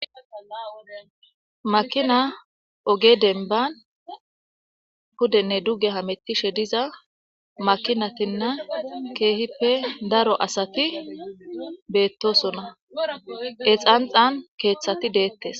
Makina oge dembani pudenne duge hamutishe daro makinatinne keehippe daro asati betosona , he xanxani keethati detes.